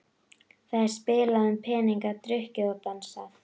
Það er spilað um peninga, drukkið og dansað.